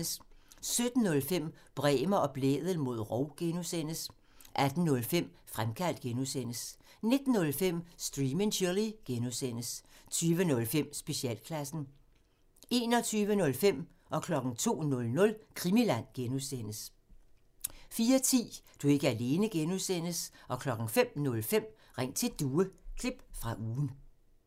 17:05: Bremer og Blædel mod rov (G) 18:05: Fremkaldt (G) 19:05: Stream and Chill (G) 20:05: Specialklassen 21:05: Krimiland (G) 02:00: Krimiland (G) 04:10: Du er ikke alene (G) 05:05: Ring til Due – klip fra ugen